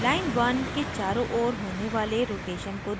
line1 1 के चारों ओर होने वाले rotation को देखें